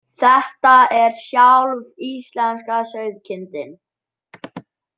Þetta er sjálf íslenska sauðkindin